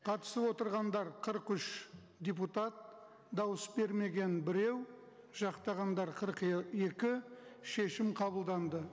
қатысып отырғандар қырық үш депутат дауыс бермеген біреу жақтағандар қырық екі шешім қабылданды